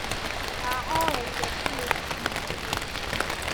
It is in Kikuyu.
ũrahoyeire kĩĩ kiumia gĩkĩ?